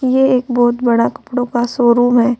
ये एक बहोत बड़ा कपड़ो का शोरूम है।